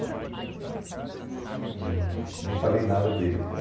Uhum. E nem falei nada dele, então...